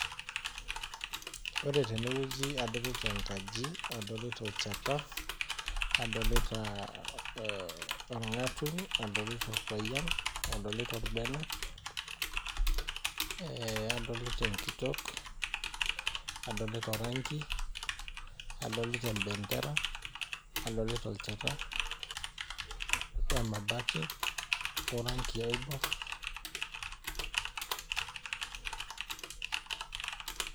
Ore tenewueji adolita enkaji , adolita olchata , adolita orngatuny , adolita orbene , nadolita orpayian, adolita enkitok, adolita oranki , adolita empendera , adolita olchata wemabati oranki oibor .